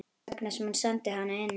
Þess vegna sem hún sendi hana inn.